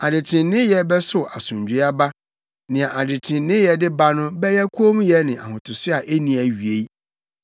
Adetreneeyɛ bɛsow asomdwoe aba; nea adetreneeyɛ de ba no bɛyɛ kommyɛ ne ahotoso a enni awiei.